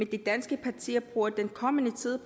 de danske partier bruger den kommende tid